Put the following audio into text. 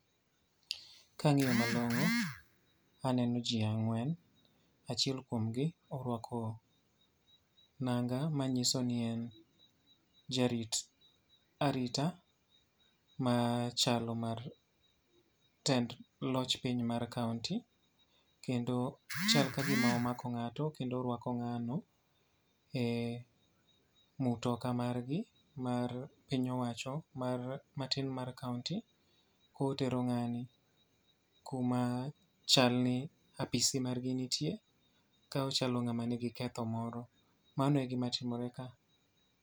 Kangíyo malongó, aneno ji ang'wen. Achiel kuomgi orwako nanga manyiso ni en jarit arita machalo mar tend loch piny ma kaunti. Kendo chal ka gima omako ngáto kendo orwako ngáno ei mtoka margi mar piny owacho, mar matin mar Kauni. Ka otero ngáni kuma chal ni apisi margi nitie. Ka ochalo ngáma nigi ketho moro. Mano e gima timore ka.